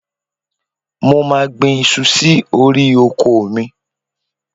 Mo máà gbin iṣu sí orí oko mi.